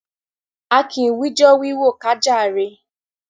A kì wijọ́ọ́ wíwò ká jàre.